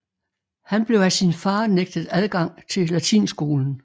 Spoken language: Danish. Han blev af sin far nægtet adgang til latinskolen